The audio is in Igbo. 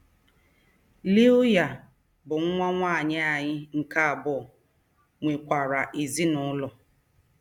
Lilya, bụ́ nwa nwanyị anyị nke abụọ, nwekwara ezinụlọ.